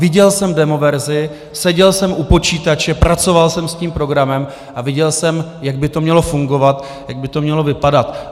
Viděl jsem demoverzi, seděl jsem u počítače, pracoval jsem s tím programem a viděl jsem, jak by to mělo fungovat, jak by to mělo vypadat.